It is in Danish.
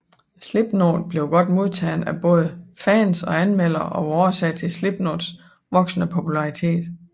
Slipknot blev godt modtaget af både fans og anmeldere og var årsag til Slipknots voksende popularitet